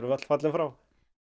öll fallin frá